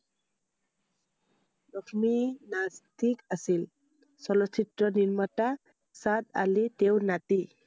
লক্ষ্মী নাস্তিক আছিল I চলচ্চিত্ৰ নিৰ্মাতা চাদ আলি তেওঁৰ নাতি